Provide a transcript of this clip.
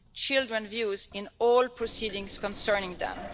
children's views in all proceedings concerning them.